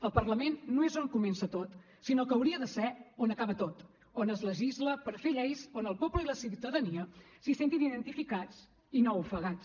el parlament no és on comença tot sinó que hauria de ser on acaba tot on es legisla per fer lleis on el poble i la ciutadania se sentin identificats i no ofegats